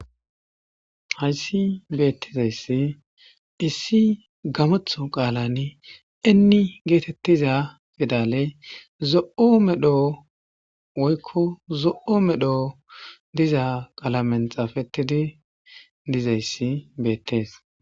hayssi beettizayssi issi gamatho qaalani inni geetettiza fidale zo7o medho woykko zo7o medho diza qaalamen xaafettidi dizayssi beettees